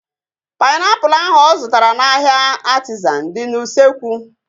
Painiapulu ahu ọ zụtara n'ahia Artizan dị n'usekwu